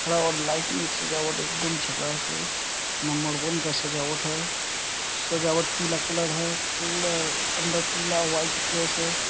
खड़ा और लाइटिंग सजावट एकदम झकास है नंबर वन का सजावट है सजावट पीला कलर है पूरा अंदर पीला व्हाइट प्लेस है।